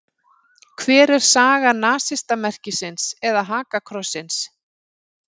Hver er saga nasistamerkisins eða hakakrossins?